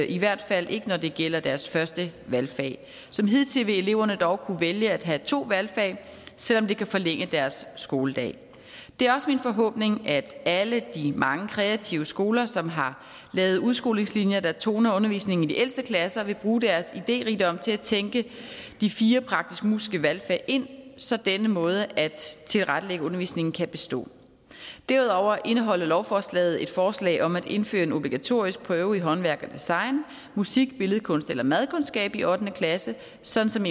i hvert fald ikke når det gælder deres første valgfag som hidtil vil eleverne dog kunne vælge at have to valgfag selv om det kan forlænge deres skoledag det er også min forhåbning at alle de mange kreative skoler som har lavet udskolingslinjer der toner undervisningen i de ældste klasser vil bruge deres idérigdom til at tænke de fire praktisk musiske valgfag ind så denne måde at tilrettelægge undervisningen på kan bestå derudover indeholder lovforslaget et forslag om at indføre en obligatorisk prøve i håndværk og design musik billedkunst eller madkundskab i ottende klasse sådan som